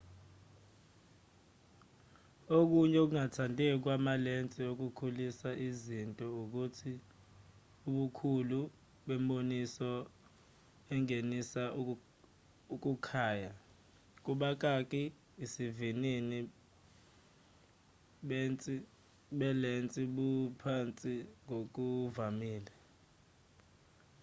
okunye ukungathandeki kwamalensi okukhulisa iznto ukuthi ubukhulu bemboniso engenisa ukukhaya isivinini belensi buphansi ngokuvamile